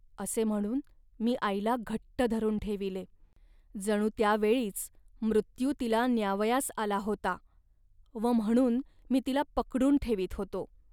असे म्हणून मी आईला घट्ट धरून ठेविले. जणू त्या वेळीच मृत्यू तिला न्यावयास आला होता व म्हणून मी तिला पकडून ठेवीत होतो